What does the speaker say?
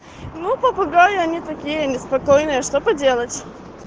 ну попугаи они такие они спокойные что поделать